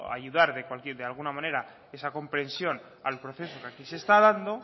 ayudar de alguna manera esa comprensión al proceso que aquí se está dando